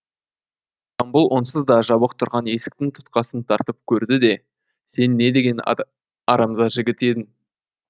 жамбыл онсыз да жабық тұрған есіктің тұтқасын тартып көрді де сен не деген арамза жігіт едің